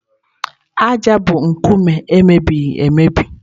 ájá bụ nkume e mebiri emebi.